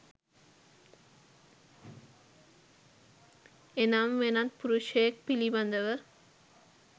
එනම් වෙනත් පුරුෂයෙක් පිළිබඳව